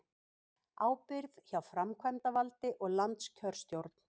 Ábyrgð hjá framkvæmdavaldi og landskjörstjórn